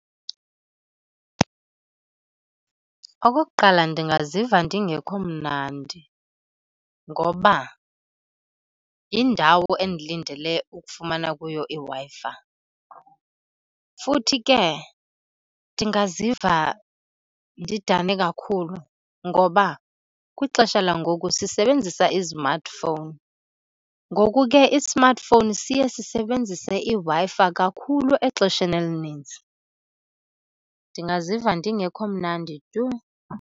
Okokuqala, ndingaziva ndingekho mnandi ngoba yindawo endilindele ukufumana kuyo iWi-Fi. Futhi ke ndingaziva ndidane kakhulu ngoba kwixesha langoku sisebenzisa i-smartphone, ngoku ke i-smartphone siye sisebenzise iWi-Fi kakhulu exesheni elininzi. Ndingaziva ndingekho mnandi tu.